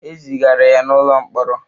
E zigara ya n'ụlọ mkpọrọ.